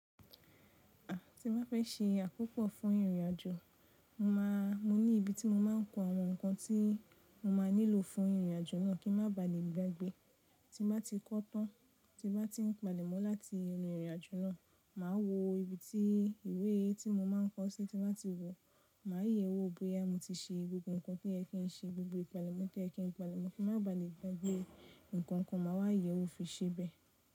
À tí mo bá fẹ́ ṣe àkópọ̀ fún ìrìnàjò, mo máa, mo ní ibi tí mo máa ń kó àwọn nǹkan tí mo máa nílò fún ìrìn àjò náà kí n má ba à lè gbàgbé. Tí mo bá ti kọ́ tán, tí mo bá ti ń palẹ̀mọ́ láti inú ìrìnàjò náà, màá wo ibi tí ìwé tí mo máa ń kọ́ síti láti wò. Màá yẹ̀e wò bóyá mo ti ṣe gbogbo nǹkan tí ẹ ki ń ṣe, gbogbo ìpalẹ̀mọ́ tí ẹ ki ń palẹ̀mọ́ kí n má baà lè gbàgbé. Ǹkankan màá wá yẹ̀ wò fi ṣe bẹ́ẹ̀.